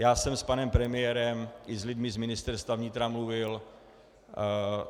Já jsem s panem premiérem i s lidmi z Ministerstva vnitra mluvil.